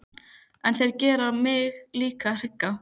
En þetta gerir mig líka hrygga.